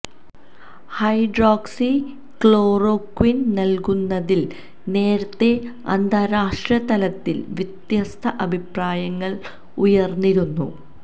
hydroxy ക്ലോറോക്വിന് നല്കുന്നതില് നേരത്തെ അന്താരാഷ്ട്രതലത്തില് വ്യത്യസ്ത അഭിപ്രായങ്ങള് ഉയര്ന്നിരുന്നു